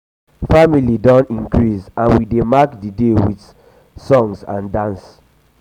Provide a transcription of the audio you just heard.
family don increase and we dey mark the day the day with um song and dance.